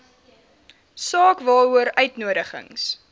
saak waaroor uitnodigings